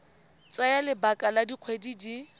tsaya lebaka la dikgwedi di